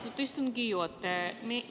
Aitäh, istungi juhataja!